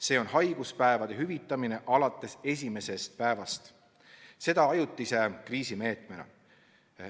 See on haiguspäevade hüvitamine alates esimesest päevast – seda ajutise kriisimeetmena.